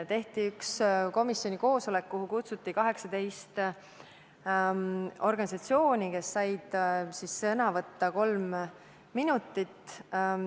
Tehti üks komisjoni koosolek, kuhu kutsuti 18 organisatsiooni, kes said sõna võtta kolm minutit.